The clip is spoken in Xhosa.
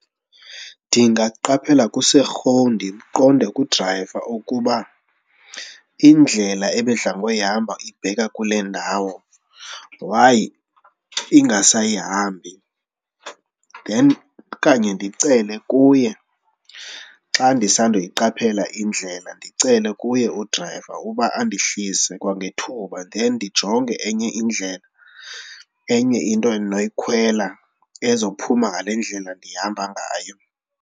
Ndingaqaphela kuserhowu ndiqonde kudrayiva ukuba indlela ebedla ngoyihamba ibheka kule ndawo why ingasayihambi. Then okanye ndicele kuye xa ndisandokuyiqaphela indlela ndicele kuye udrayiva uba andehlise kwangethuba then ndijonge enye indlela, enye into endinoyikhwela ezophuma ngale ndlela ndihamba ngayo.